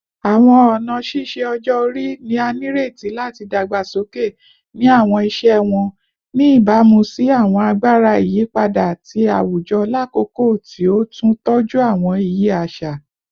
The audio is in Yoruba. Awọn ọna ṣiṣe ọjọ-ori ni a nireti lati dagbasoke ni awọn iṣẹ wọn, ni ibamu si awọn agbara iyipada ti awujọ lakoko ti o tun tọju awọn iye aṣa